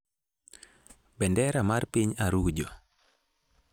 bendera mar piny Arujo.